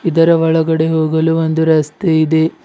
ಇದರ ಒಳಗಡೆ ಹೋಗಲು ಒಂದು ರಸ್ತೆ ಇದೆ.